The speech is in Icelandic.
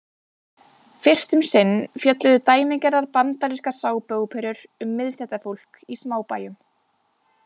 Fyrst um sinn fjölluðu dæmigerðar bandarískar sápuóperur um miðstéttarfólk í smábæjum.